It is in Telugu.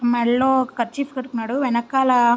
మేడలో కార్షిఫ్ కట్టుకునాడు వెనకాల --